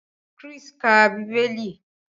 Chris ń ká Bíbélì.